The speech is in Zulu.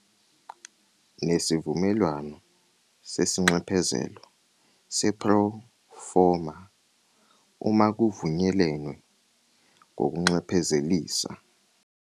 Nesivumelwano sesinxephezelo sepro-forma uma kuvunyelenwe ngokunxephezelisa.